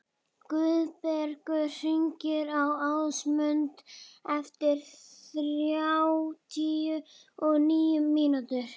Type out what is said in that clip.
Guðbergur, hringdu í Ásmundu eftir þrjátíu og níu mínútur.